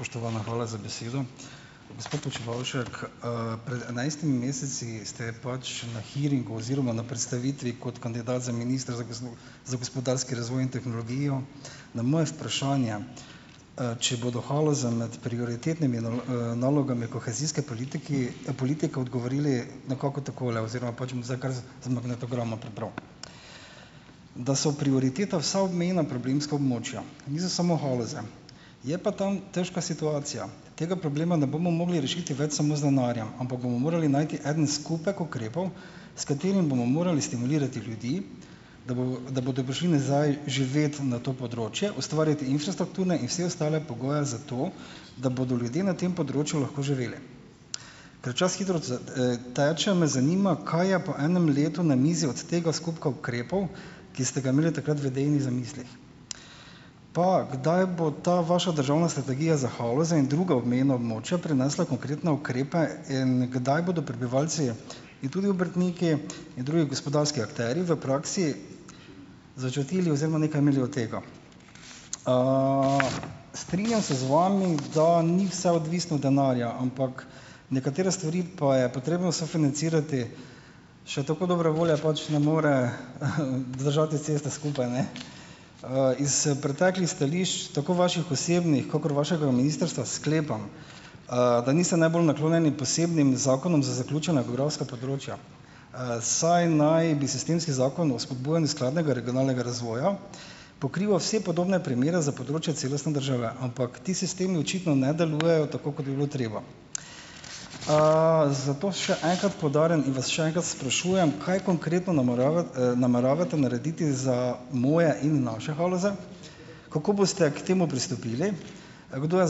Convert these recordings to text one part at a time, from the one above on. Spoštovana, hvala za besedo. Gospod Počivalšek, pred enajstimi meseci ste pač na hearingu oziroma na predstavitvi kot kandidat za ministra za za gospodarski razvoj in tehnologijo na moje vprašanje, če bodo Haloze med prioritetnimi nalogami kohezijske politiki politike, odgovorili nekako takole oziroma pač bom zdaj kar z z magnetograma prebral: "Da so prioriteta vsa obmejna problemska območja. Niso samo Haloze, je pa tam težka situacija, katerega problema ne bomo mogli rešiti več samo z denarjem, ampak bomo morali najti eden skupek ukrepov, s katerim bomo morali stimulirati ljudi, da bodo da bodo prišli nazaj živet na to področje, ustvariti infrastrukturne in vse ostale pogoje za to, da bodo ljudje na tem področju lahko živeli." Ker čas hitro, teče, me zanima, kaj je po enem letu na mizi od tega skupka ukrepov, ki ste ga imeli takrat v idejnih zamislih. Pa kdaj bo ta vaša državna strategija za Haloze in druga obmejna območja prinesla konkretne ukrepe in kdaj bodo prebivalci in tudi obrtniki in drugi gospodarski akterji v praksi začutili oziroma nekaj imeli od tega. Strinjam se z vami, da ni vse odvisno od denarja. Ampak nekatere stvari pa je potrebno sofinancirati, še tako dobre volje, pač ne more, vzdržati ceste skupaj, ne. Iz preteklih stališč, tako vaših osebnih, kakor vašega ministrstva, sklepam, da niste najbolj naklonjeni posebnim zakonom za zaključena geografska področja, saj naj bi sistemski Zakon o spodbujanju skladnega regionalnega razvoja pokrival vse podobne primere za področja celostne države. Ampak ti sistemi očitno ne delujejo tako, kot bi bilo treba. Zato še enkrat poudarjam in vas še enkrat sprašujem, kaj konkretno nameravate narediti za moje in naše Haloze, kako boste k temu pristopili, kdo je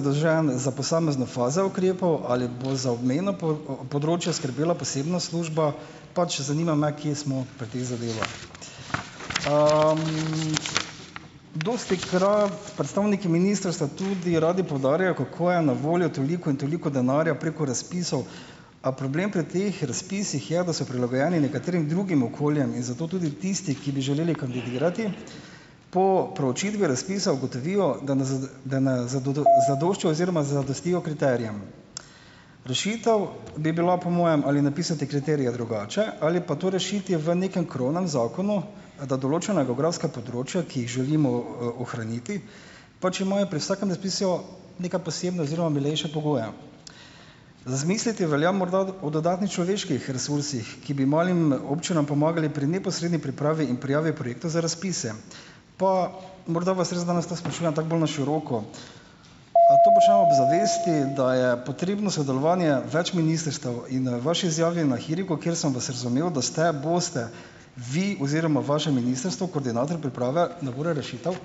zadolžen za posamezne faze ukrepov, ali bo za obmejna področja skrbela posebna služba, pač zanima me, kje smo pri teh zadevah. Dostikrat predstavniki ministrstva tudi radi poudarjajo, kako je na voljo toliko in toliko denarja preko razpisov, a problem pri teh razpisih je, da so prilagojeni nekaterim drugim okoljem in zato tudi tisti, ki bi želeli kandidirati, po preučitvi razpisa ugotovijo, zadoščajo oziroma zadostijo kriterijem. Rešitev bi bila, po mojem, ali napisati kriterije drugače, ali pa to rešiti v nekem krovnem zakonu, da določena geografska področja, ki jih želimo, ohraniti, pač imajo pri vsakem razpisu neke posebne oziroma milejše pogoje. Razmisliti velja morda o dodatnih človeških resursih, ki bi malim občinam pomagali pri neposredni pripravi in prijavi projekta za razpise. Pa morda vas res danes to sprašujem tako bolj na široko. To počnemo ob zavesti, da je potrebno sodelovanje več ministrstev. In, vaši izjavi na hearingu, kjer sem vas razumel, da ste, boste, vi oziroma vaše ministrstvo, koordinator priprave nabora rešitev.